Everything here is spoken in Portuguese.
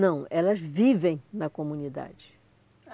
Não, elas vivem na comunidade.